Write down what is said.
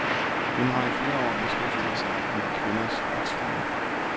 Hun har i flere år beskæftiget sig med kvinders retsstilling.